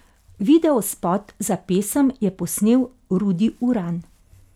Videospot za pesem je posnel Rudi Uran.